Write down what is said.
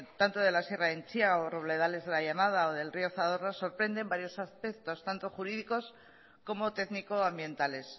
tanto de la sierra de entzia o robledales de la llanada o del río zadorra sorprenden varios aspectos tanto jurídicos como técnico ambientales